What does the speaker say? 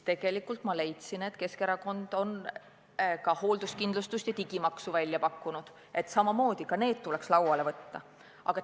Aga ma leian, et kui Keskerakond on ka hoolduskindlustuse ja digimaksu välja pakkunud, siis samamoodi tuleks ka need lauale võtta.